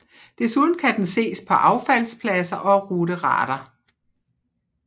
Desuden kan den ses på affaldspladser og ruderater